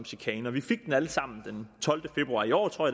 chikane og vi fik den alle sammen den tolvte februar i år tror